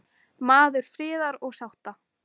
Maður friðar og sátta.